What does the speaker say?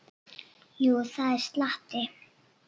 Jú, það er slatti.